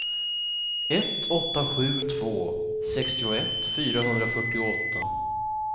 ett åtta sju två sextioett fyrahundrafyrtioåtta